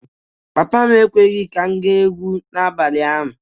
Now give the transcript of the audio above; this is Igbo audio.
Papa m ekweghị ka m gaa egwu abalị ahụ.